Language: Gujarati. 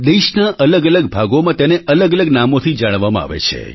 દેશના અલગઅલગ ભાગોમાં તેને અલગઅલગ નામોથી જાણવામાં આવે છે